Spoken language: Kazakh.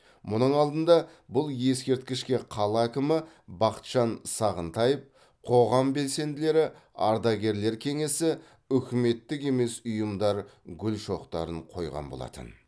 мұның алдында бұл ескерткішке қала әкімі бақытжан сағынтаев қоғам белсенділері ардагерлер кеңесі үкіметтік емес ұйымдар гүл шоқтарын қойған болатын